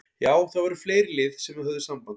Já það voru fleiri lið sem að höfðu samband.